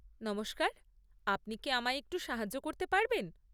নমস্কার, আপনি কি আমায় একটু সাহায্য করতে পারবেন?